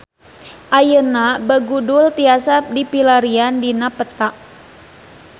Ayeuna Begudul tiasa dipilarian dina peta